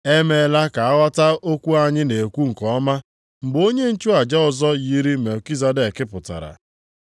E meela ka a ghọta okwu anyị na-ekwu nke ọma, mgbe onye nchụaja ọzọ yiri Melkizedek pụtara.